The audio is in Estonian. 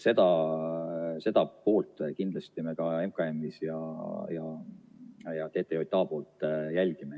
Seda poolt kindlasti me ka MKM-is ja TTJA-s jälgime.